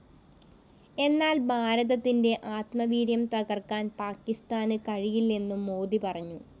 എന്നാല്‍ ഭാരതത്തിന്റെ ആത്മവീര്യം തകര്‍ക്കാന്‍ പാക്കിസ്ഥാന് കഴിയില്ലെന്നും മോദി പറഞ്ഞു